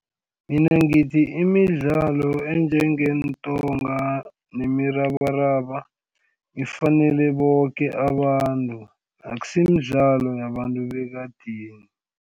Mina ngithi imidlalo enjengeentonga nemirabaraba ifanele boke abantu akusimidlalo yabantu bekadeni.